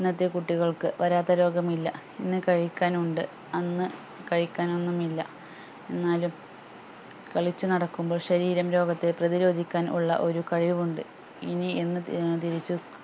ഇന്നത്തെ കുട്ടികൾക്ക് വരാത്ത രോഗം ഇല്ല ഇന്ന് കഴിക്കാൻ ഉണ്ട് അന്ന് കഴിക്കാൻ ഒന്നും ഇല്ല എന്നാലും കളിച്ചു നടക്കുമ്പോൾ ശരീരം രോഗത്തെ പ്രതിരോധിക്കാൻ ഉള്ള ഒരു കഴിവുണ്ട് ഇനി ഇന്ന് ഏർ തിരിച്ച്